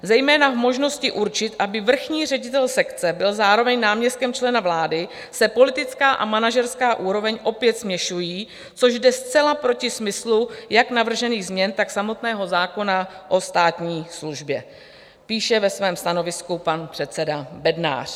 Zejména v možnosti určit, aby vrchní ředitel sekce byl zároveň náměstkem člena vlády, se politická a manažerská úroveň opět směšují, což jde zcela proti smyslu jak navržených změn, tak samotného zákona o státní službě," píše ve svém stanovisku pan předseda Bednář.